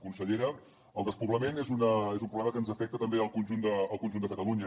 consellera el despoblament és un problema que ens afecta també al conjunt de catalunya